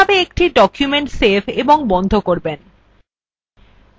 calca কিভাবে একটি document save এবং বন্ধ করবেন